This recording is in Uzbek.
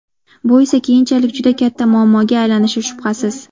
Bu esa keyinchalik juda katta muammoga aylanishi shubhasiz.